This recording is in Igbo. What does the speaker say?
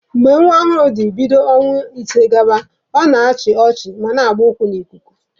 Mgbe nwa ọhụrụ dị bido ọnwa ise gaba, ọ na-achị ọchị ma na-agba ụkwụ n'ikuku.